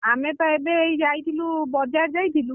ଆମେ ତ ଏବେ ଏଇ ଯାଇଥିଲୁ ବଜାର ଯାଇଥିଲୁ